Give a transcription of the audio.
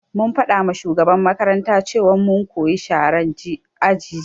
Mun faɗama shugaban makaranta cewan mu mukayi sharan aji jiya